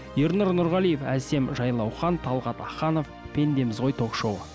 ернұр нұрғалиев әсем жайлаухан талғат аханов пендеміз ғой ток шоуы